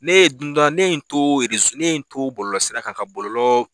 Ne ye don dɔ ne in n to ne ye n to bɔlɔlɔsira kan ka bɔlɔlɔ